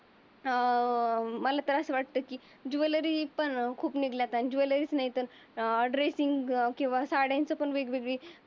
अं मला तर अस वाटत. की ज्वेलरी पण खूप निघल्या ज्वेलरीस नाही. तर अं ड्रेसिंग किंवा साड्यांचे पण खूप वेगवेगळे